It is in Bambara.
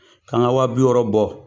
Kanga wa bi wɔɔrɔ bɔ,